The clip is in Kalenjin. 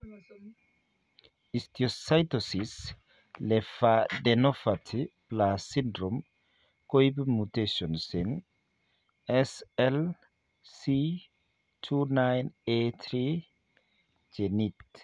Histiocytosis lyphadenopathy plus syndrome koibu mutations eng' SLC29A3 genit